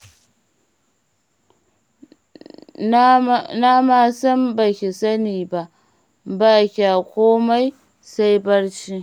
Na ma san ba ki sani ba, ba kya komai sai barci.